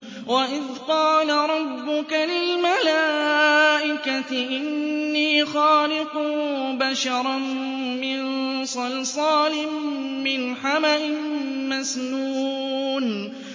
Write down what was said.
وَإِذْ قَالَ رَبُّكَ لِلْمَلَائِكَةِ إِنِّي خَالِقٌ بَشَرًا مِّن صَلْصَالٍ مِّنْ حَمَإٍ مَّسْنُونٍ